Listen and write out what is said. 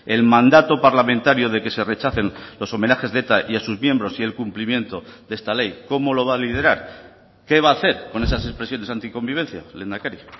el mandato parlamentario de que se rechacen los homenajes de eta y a sus miembros y el cumplimiento de esta ley cómo lo va a liderar qué va a hacer con esas expresiones anticonvivencia lehendakari